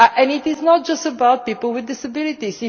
Europe. It is not just about people with disabilities.